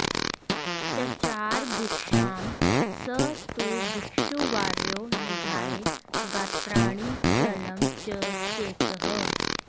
चचार भिक्षां स तु भिक्षुवर्यो निधाय गात्राणि चलं च चेतः